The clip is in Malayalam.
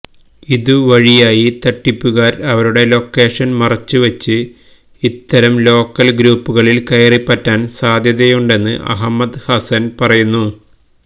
ഇത് വഴിയായി തട്ടിപ്പുകാര് അവരുടെ ലൊക്കേഷന് മറച്ചുവച്ച് ഇത്തരം ലോക്കല് ഗ്രൂപ്പുകളില് കയറിപ്പറ്റാന് സാധ്യതയുണ്ടെന്ന് അഹമ്മദ് ഹസന് പറയുന്നു